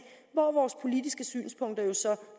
hvor vores politiske synspunkter jo så